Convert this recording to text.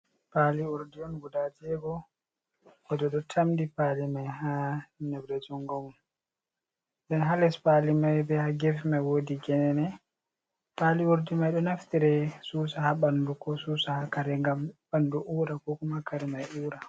Paali urdi on guda jeego goɗɗo ɗo tamdi paali may haa nebre junngo mum. Nden haa les paali may be haa geefe may woodi geene. Paali urdi may ɗo naftire susa haa ɓanndu ,ko susa haa kare ngam ɓanndu uura ko kooma kare may uura.